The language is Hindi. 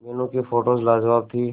मीनू की फोटोज लाजवाब थी